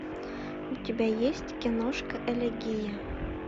у тебя есть киношка элегия